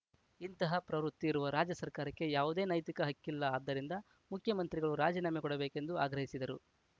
ಇಂತಹ ಪ್ರವೃತ್ತಿ ಇರುವ ರಾಜ್ಯ ಸರ್ಕಾರಕ್ಕೆ ಯಾವುದೇ ನೈತಿಕ ಹಕ್ಕಿಲ್ಲ ಆದ್ದರಿಂದ ಮುಖ್ಯಮಂತ್ರಿಗಳು ರಾಜೀನಾಮೆ ಕೊಡಬೇಕೆಂದು ಆಗ್ರಹಿಸಿದರು